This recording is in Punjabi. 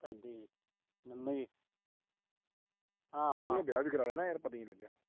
ਇਹਨੇ ਵਿਆਹ ਵੀ ਕਰਵਾ ਲਿਆ ਯਾਰ ਪਤਾ ਈ ਨੀ ਲੱਗਿਆ।